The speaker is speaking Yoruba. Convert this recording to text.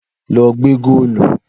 Lọ gbẹ́ góòlù!